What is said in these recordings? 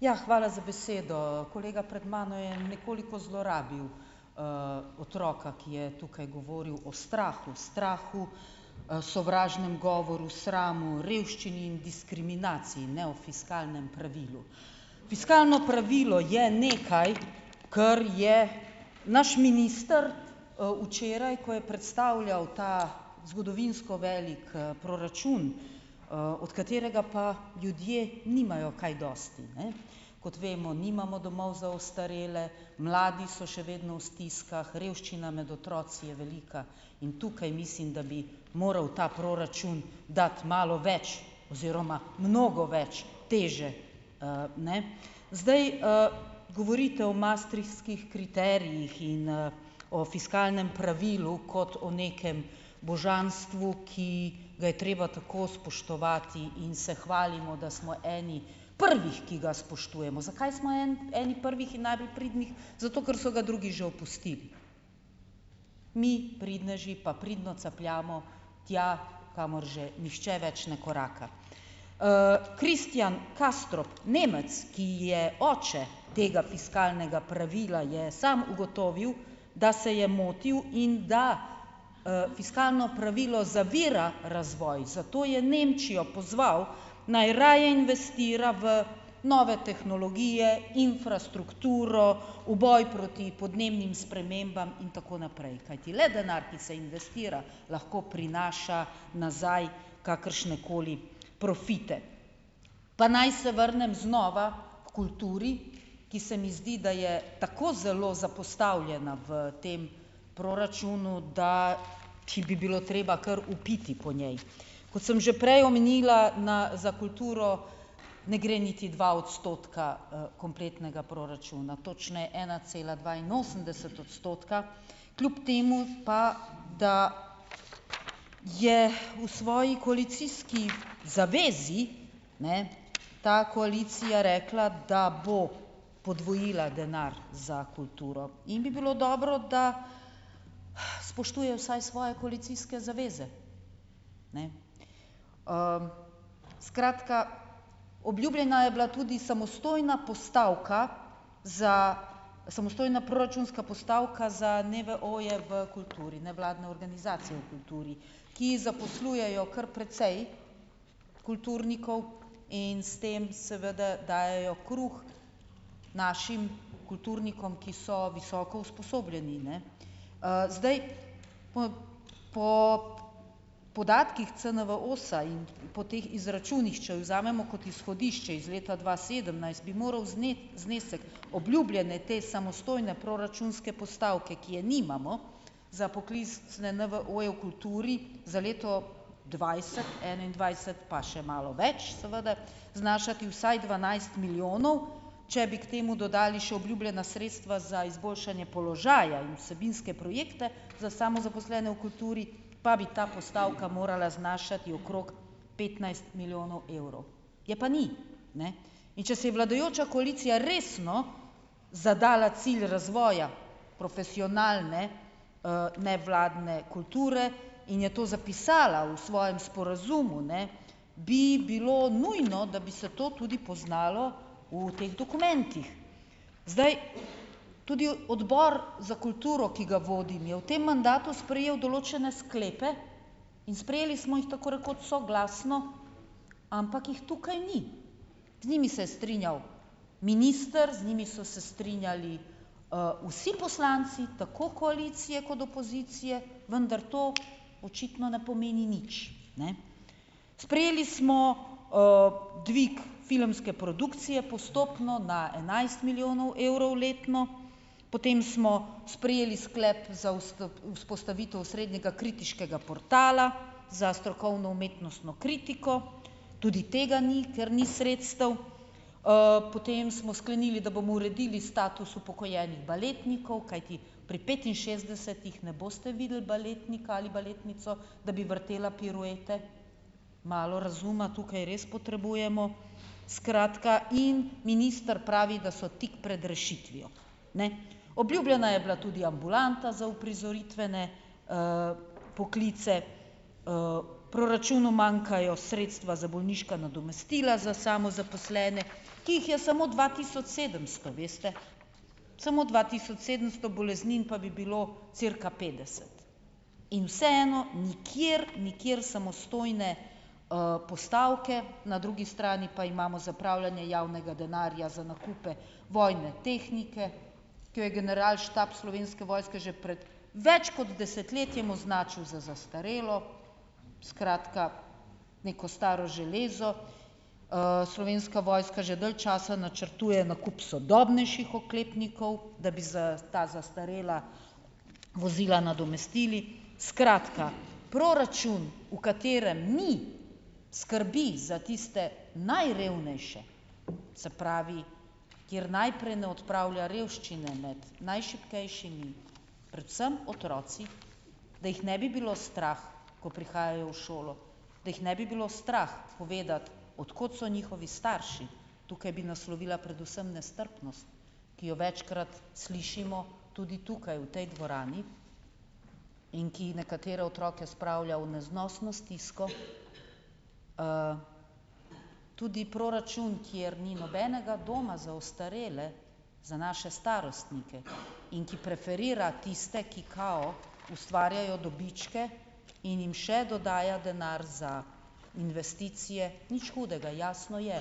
Ja, hvala za besedo, kolega pred mano jo je nekoliko zlorabil, otroka, ki je tukaj govoril o strahu, strahu, sovražnem govoru, sramu, revščini in diskriminaciji, ne o fiskalnem pravilu, fiskalno pravilo je nekaj, kar je naš minister, včeraj, ko je predstavljal ta zgodovinsko velik proračun, od katerega pa ljudje nimajo kaj dosti, ne, kot vemo, nimamo domov za ostarele, mladi so še vedno v stiskah, revščina med otroci je velika, in tukaj mislim, da bi moral ta proračun dati malo več oziroma mnogo več teže, ne, zdaj, govorite o maastrichtskih kriterijih in, o fiskalnem pravilu kot o nekem božanstvu, ki ga je treba tako spoštovati, in se hvalimo, da smo eni prvih, ki ga spoštujemo. Zakaj smo en eni prvih in najbolj pridnih? Zato ker so ga drugi že opustili, mi pridneži pa pridno capljamo tja, kamor že nihče več ne koraka, Christian Castro, Nemec, ki je oče tega fiskalnega pravila, je sam ugotovil, da se je motil in da, fiskalno pravilo zavira razvoj, zato je Nemčijo pozval, naj raje investira v nove tehnologije, infrastrukturo, v boj proti podnebnim spremembam in tako naprej, kajti le denar, ki se investira, lahko prinaša nazaj kakršnekoli profite, pa naj se vrnem znova h kulturi, ki se mi zdi, da je tako zelo zapostavljena v tem proračunu, da ki bi bilo treba kar vpiti po njej, kot sem že prej omenila na za kulturo ne gre niti dva odstotka, kompletnega proračuna, točneje ena cela dvainosemdeset odstotka, kljub temu pa da je v svoji koalicijski zavezi, ne, ta koalicija rekla, da bo podvojila denar za kulturo in bi bilo dobro, da spoštuje vsaj svoje koalicijske zaveze, ne, skratka, obljubljena je bila tudi samostojna postavka za, samostojna proračunska postavka za NVO-je v kulturi, nevladne organizacije v kulturi, ki zaposlujejo kar precej kulturnikov in s tem seveda dajejo kruh našim kulturnikom, ki so visoko usposobljeni, ne, zdaj po po podatkih CNVOS-a po teh izračunih, če vzamemo kot izhodišče iz leta dva sedemnajst, bi moral znesek obljubljene te samostojne proračunske postavke, ki je nimamo, za pokliz, ne, NVO-je v kulturi za leto dvajset enaindvajset, pa še malo več seveda, znašati vsaj dvanajst milijonov, če bi k temu dodali še obljubljena sredstva za izboljšanje položaja in vsebinske projekte za samozaposlene v kulturi, pa bi ta postavka morala znašati okrog petnajst milijonov evrov, je pa ni, ne, in če se je vladajoča koalicija resno zadala cilj razvoja profesionalne, nevladne kulture in je to zapisala v svojem sporazumu, ne, bi bilo nujno, da bi se to tudi poznalo v teh dokumentih, zdaj, tudi odbor za kulturo, ki ga vodim, je v tem mandatu sprejel določene sklepe in sprejeli smo jih tako rekoč soglasno, ampak jih tukaj ni, z njimi se je strinjal minister, z njimi so se strinjali, vsi poslanci tako koalicije kot opozicije, vendar to očitno ne pomeni nič, ne, sprejeli smo, dvig filmske produkcije postopno na enajst milijonov evrov letno, potem smo sprejeli sklep za vzpostavitev srednjega kritiškega portala, za strokovno umetnostno kritiko, tudi tega ni, ker ni sredstev, potem smo sklenili, da bomo uredili status upokojenih baletnikov, kajti pri petinšestdesetih ne boste videli baletnika ali baletnico, da bi vrtela piruete, malo razuma tukaj res potrebujemo, skratka, in minister pravi, da so tik pred rešitvijo, ne, obljubljena je bila tudi ambulanta za uprizoritvene, poklice, proračunu manjkajo sredstva za bolniška nadomestila za samozaposlene, ki jih je samo dva tisoč sedemsto, veste, samo dva tisoč sedemsto boleznin pa bi bilo cirka petdeset, in vseeno nikjer nikjer samostojne, postavke, na drugi strani pa imamo zapravljanje javnega denarja za nakupe vojne tehnike, ki jo generalštab Slovenske vojske že pred več kot desetletjem označil za zastarelo, skratka, neko staro železo, Slovenska vojska že dalj časa načrtuje nakup sodobnejših oklepnikov, da bi za ta zastarela vozila nadomestili, skratka, proračun, v katerem ni skrbi za tiste najrevnejše, se pravi, kjer najprej ne odpravlja revščine med najšibkejšimi, predvsem otroki, da jih ne bi bilo strah, ko prihajajo v šolo, da jih ne bi bilo strah povedati, od kod so njihovi starši, tukaj bi naslovila predvsem nestrpnost, ki jo večkrat slišimo tudi tukaj v tej dvorani in ki nekatere otroke spravlja v neznosno stisko, tudi proračun, kjer ni nobenega doma za ostarele, za naše starostnike, in ki preferira tiste, ki kao ustvarjajo dobičke, in jim še dodaja denar za investicije, nič hudega, jasno je,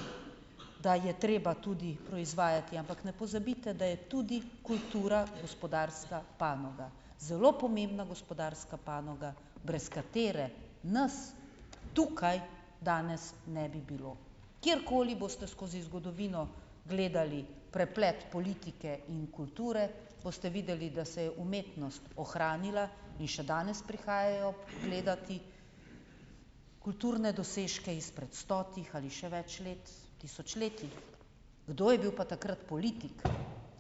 da je treba tudi proizvajati, ampak ne pozabite, da je tudi kultura gospodarska panoga, zelo pomembna gospodarska panoga, brez katere nas tukaj danes ne bi bilo, kjerkoli boste skozi zgodovino gledali preplet politike in kulture, boste videli, da se je umetnost ohranila, in še danes prihajajo gledat kulturne dosežke izpred stotih ali še več let, tisočletij, kdo je bil pa takrat politik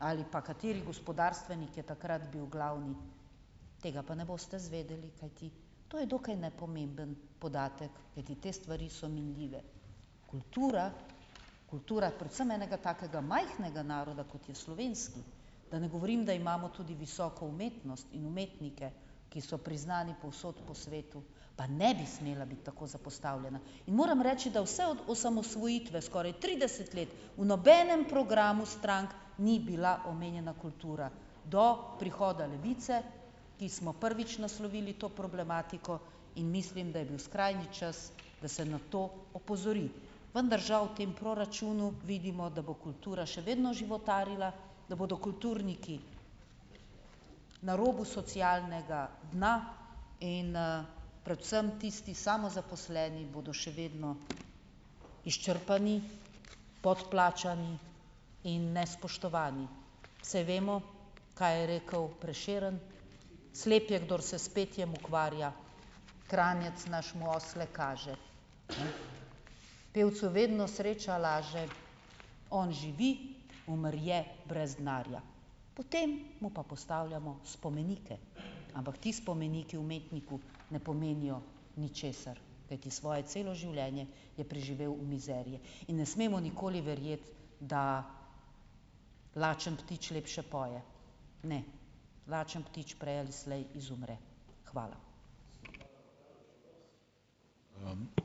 ali pa kateri gospodarstvenik je takrat bil glavni, tega pa ne boste izvedeli, kajti to je dokaj nepomemben dodatek, kajti te stvari so minljive, kultura, kultura predvsem enega takega majhnega naroda, kot je slovenski, da ne govorim, da imamo tudi visoko umetnost in umetnike, ki so priznani povsod na svetu, pa ne bi smela biti tako zapostavljena in moram reči, da vse od osamosvojitve, skoraj trideset let, v nobenem programu strank ni bila omenjena kultura do prihoda Levice, ki smo prvič naslovili to problematiko, in mislim, da je bil skrajni čas, da se na to opozori, vendar žal v tem proračunu vidimo, da bo kultura še vedno životarila, da bodo kulturniki na robu socialnega dna, in, predvsem tisti samozaposleni bodo še vedno izčrpani, podplačani in nespoštovani, saj vemo, kaj je rekel Prešeren: "Slep je, kdor se s petjem ukvarja, Kranjec naš mu osle kaže, pevcu vedno sreča laže, on živi, umrje brez denarja." Potem mu pa postavljamo spomenike, ampak ti spomeniki umetniku ne pomenijo ničesar, kajti svoje celo življenje je preživel v mizeriji in ne smemo nikoli verjeti, da lačen ptič lepše poje. Ne, lačen ptič prej ali slej izumre, hvala.